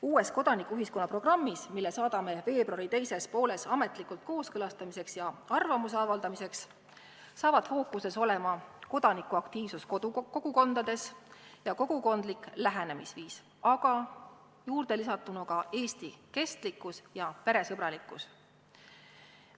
Uues kodanikuühiskonna programmis, mille saadame veebruari teises pooles ametlikuks kooskõlastamiseks ja arvamuse avaldamiseks, saavad fookuses olema kodanikuaktiivsus kogukondades ja kogukondlik lähenemisviis, aga juurde on lisatud ka Eesti kestlikkus ja peresõbralikkus.